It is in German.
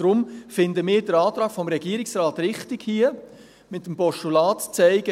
Deshalb finden wir den Antrag des Regierungsrates hier richtig, um mit dem Postulat zu zeigen: